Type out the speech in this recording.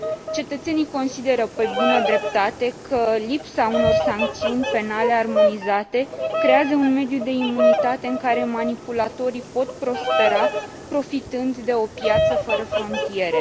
Cetățenii consideră, pe bună dreptate, că lipsa unor sancțiuni penale armonizate creează un mediu de imunitate în care manipulatorii pot prospera, profitând de o piață fără frontiere.